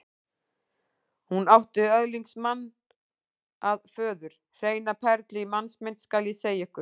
Hún átti öðlingsmann að föður, hreina perlu í mannsmynd, skal ég segja ykkur.